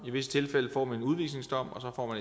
i visse tilfælde får en udvisningsdom og